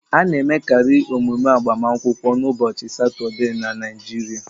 A na-emekari emume agbamakwụkwọ n'ụbọchị Satọde na Naịjirịa